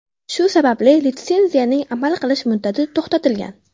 Shu sababli litsenziyaning amal qilish muddati to‘xtatilgan.